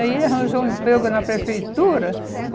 Aí ele arranjou um emprego na prefeitura.